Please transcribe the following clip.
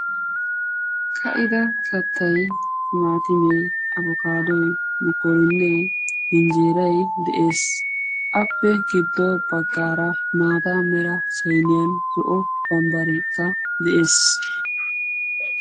ka'ida kattay maatimee abokaadoy mukkorinnee hinjjeerai de7ees appe giddo baggaara maata mera sainiyan zo'o bambbareka de'ees